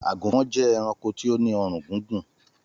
Àgùnfọn jẹ́ ẹranko tó ní ọrùn gígùn